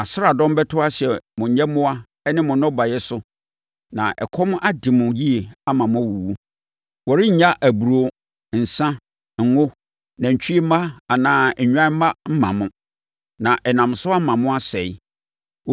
Nʼasraadɔm bɛto ahyɛ mo nyɛmmoa ne mo nnɔbaeɛ so na ɛkɔm ade mo yie ama moawuwu. Wɔrennya aburoo, nsã, ngo, nantwie mma anaa nnwan mma mma mo, na ɛnam so ama mo asɛe.